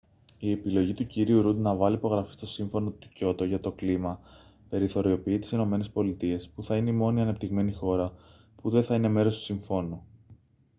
η επιλογή του κ ρουντ να βάλει υπογραφή στο σύμφωνο του κιότο για το κλίμα περιθωριοποιεί τις ηνωμένες πολιτείες που θα είναι η μόνη ανεπτυγμένη χώρα που δεν θα είναι μέρος του συμφώνου